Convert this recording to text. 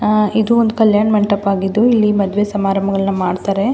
ಆಹ್ಹ್ ಇದು ಒಂದು ಕಲ್ಯಾಣ ಮಂಟಪ ಆಗಿದ್ದು ಇಲ್ಲಿ ಮದುವೆ ಸಮಾರಂಭಗಳನ್ನು ಮಾಡತಾರೆ.